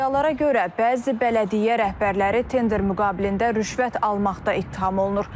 İddialara görə, bəzi bələdiyyə rəhbərləri tender müqabilində rüşvət almaqda ittiham olunur.